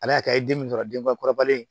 A y'a kɛ i den ye min sɔrɔ denbakɔrɔbalen